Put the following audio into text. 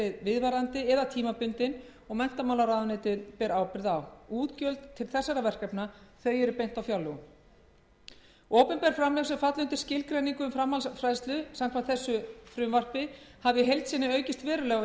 verið viðvarandi eða tímabundin og menntamálaráðherra ber ábyrgð á útgjöld til þessara verkefna eru á fjárlögum opinber framlög sem falla undir skilgreiningu um framhaldsfræðslu samkvæmt frumvarpi þessu hafa í heild sinni aukist verulega